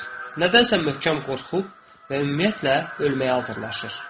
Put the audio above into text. Nədənsə möhkəm qorxub və ümumiyyətlə ölməyə hazırlaşır.